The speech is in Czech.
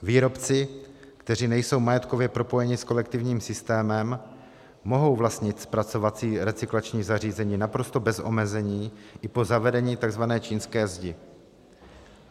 Výrobci, kteří nejsou majetkově propojeni s kolektivním systémem, mohou vlastnit zpracovací recyklační zařízení naprosto bez omezení i po zavedení tzv. čínské zdi.